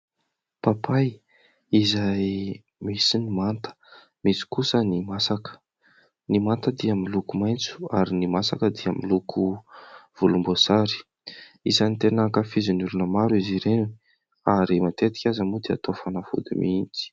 Papay izay misy ny manta misy kosa ny masaka, ny manta dia miloko maintso ary ny masaka dia miloko volom-bosary isany ten ankafizin'ny olona maro izy ireny ary matetika aza moa Izy ireny dia atao fanafody mihitsy.